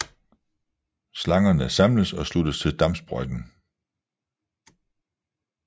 Slangerne samles og sluttes til dampsprøjten